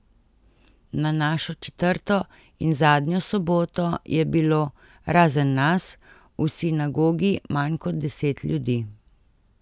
Na našo četrto in zadnjo soboto je bilo, razen nas, v sinagogi manj kot deset ljudi.